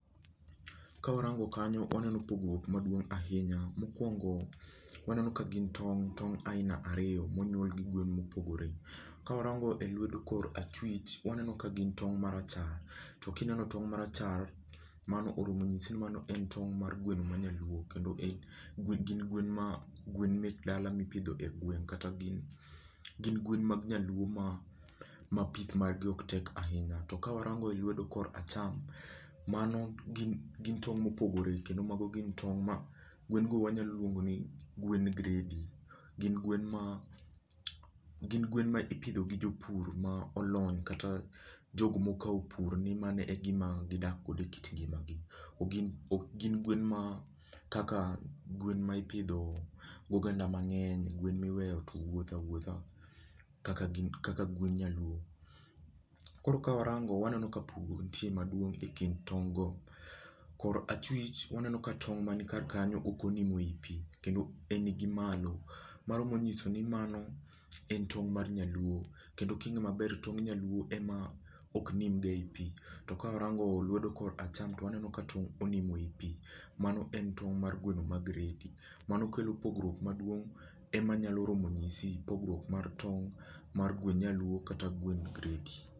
Kawarango kanyo waneno pogruok maduong' ahinya. Mokuongo waneno ka gin tong' aina ariyo ,onyuol gi gwen mopogore. Ka warango e lwedo korachwich, waneno ka gin tong' marachar, to kineno tong' marachar to mano oro mo nyisi ni en tong' mar gweno ma nyaluo., kendo gin gwen mek dala mipidho e gweng' kata gin gwen mag nyaluo ma pith gi ok tek ahinya. To kawarango e lwedo korkacham, mano gin tong' mopogore kendo mago gin tong' ma gwen go wanyalo luongo ni gwend gredi gin gwen ma gin gwen ma iipidho gi jopur ma olony kata ma jok mokawo pur ni mano e gik ma gidakgo ekit ngimagi. Ok gin gwen ma kaka gwen ma ipidho gi oganda mang'eny, gwen ma iweyo to wuotho awuotha kaka gwend nyaluo..Ka warango waneno ka pogruok nitie maduong' ekind tong' go, kor achwich waneno ka tong' man kar kanyo ok onimo eipi. En gi malo, en tong' mar nyaluo, kendo ka in maber tong' nyaluo ema ok nim ga eipi. To ka warango lwedo korka acham to waneno ka tong' onimo eipi. Mano en tong' mar gweno mar gredi. Mano kelo pogruok maduong' ema nyalo romo nyisi pogruok mar gwend nyaluo kata gwend gredi.